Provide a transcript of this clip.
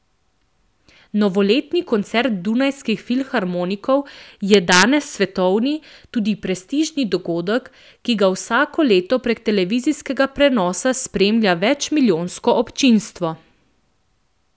Novoletni koncert Dunajskih filharmonikov je danes svetovni, tudi prestižni dogodek, ki ga vsako leto prek televizijskega prenosa spremlja večmilijonsko občinstvo.